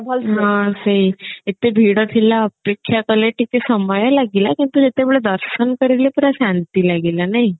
ହଁ ସେଇ ଏତେ ଭିଡ ଥିଲା ଅପେକ୍ଷା କଲେ ଟିକେ ସମୟ ଲାଗିଲା କିନ୍ତୁ ଯେତେବେଳେ ଦର୍ଶନ କରିଲେ ପୁରା ଶାନ୍ତି ଲାଗିଲା ନାଇଁ